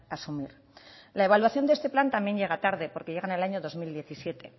a asumir la evaluación de este plan también llega tarde porque llega en el año dos mil diecisiete